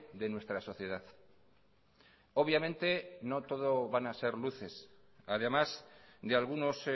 de nuestra sociedad obviamente no todo van a ser luces además de algunos